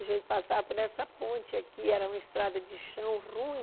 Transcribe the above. A gente passava por essa ponte aqui, era uma estrada de chão ruim.